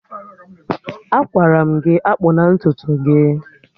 Agwara m gị akpụna ntutu gị!